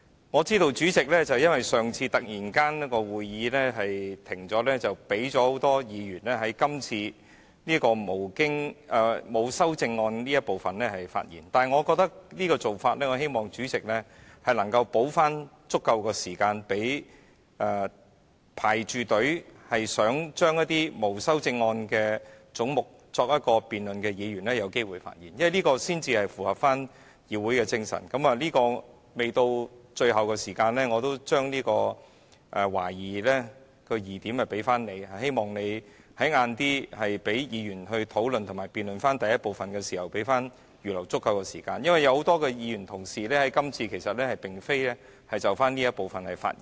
我知道由於上次會議突然停止，因此主席容許很多議員在今天辯論沒有修正案的總目這部分發言，對於這種做法，我希望主席能夠補足時間，讓正在輪候、想就一些沒有修正案的總目進行辯論的議員有機會發言，因為這樣才符合議會精神——關於這點，未到最後，我也會把疑點利益歸於主席——希望你稍後讓議員討論及辯論第1部分時能預留足夠時間，因為有很多議員同事今次並非想就這一部分發言。